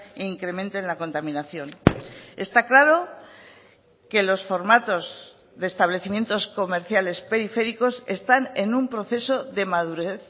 e incrementen la contaminación está claro que los formatos de establecimientos comerciales periféricos están en un proceso de madurez